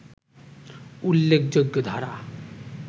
উল্লেখযোগ্য ধারা